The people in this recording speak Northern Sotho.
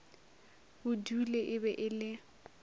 budule e be e le